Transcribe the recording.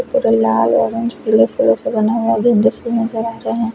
एक और लाल ओरेंज ब्लैक कलर से बने हुए दो गिफ्ट नजर आ रहे है।